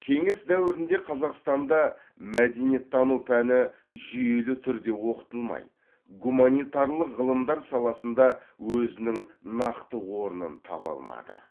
кеңес дәуірінде қазақстанда мәдениеттану пәні жүйелі түрде оқытылмай гуманитарлық ғылымдар саласында өзінің нақты орнын таба алмады